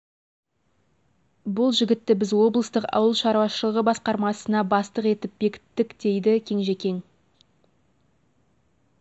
бұл жігітті біз облыстық ауыл шаруашылығы басқармасына бастық етіп бекіттік дейді кенжекең